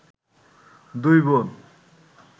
দুই বোন